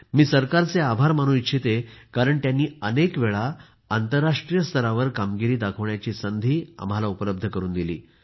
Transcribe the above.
मी सरकारचे आभार मानू इच्छिते कारण त्यांनी अनेक वेळा आंतरराष्ट्रीय स्तरावर कामगिरी दाखवायची संधी आम्हाला उपलब्ध करून दिली